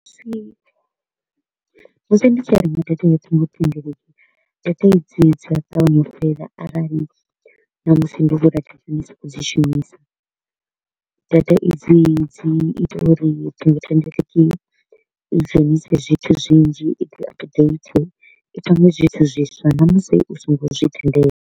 Musi musi ndi tshi renga data ya dzinwe thendeleki, data idzi dzi a ṱavhanya u fhela arali ṋamusi ndo sa kho u dzi shumisa. Data i dzi dzi ita uri ṱhingothendeleki i dzhenise zwithu zwinzhi i dzi update, i pange zwithu zwiswa ṋamusi u so ngo zwi tendela.